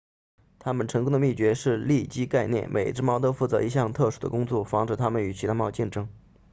它们成功的秘诀是利基概念每只猫都负责一项特殊的工作防止它们与其他猫竞争